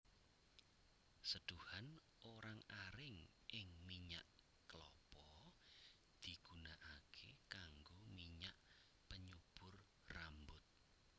Seduhan orang aring ing minyak kelapa digunakaké kanggo minyak penyubur rambut